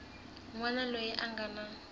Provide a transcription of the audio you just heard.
wana loyi a nga na